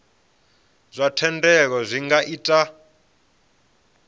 zwa thendelo zwi nga ita